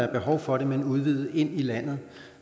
er behov for det men udvide ind i landet